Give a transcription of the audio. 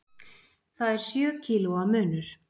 Það er sjö kílóa munur.